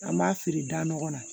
An b'a feere da nɔgɔ la